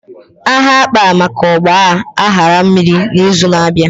Aha akpa maka Ọgba aghara mmiri na izu na abịa